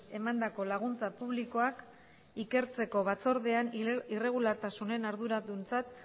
emandako laguntza publikoak ikertzeko batzordean irregulartasunen arduraduntzat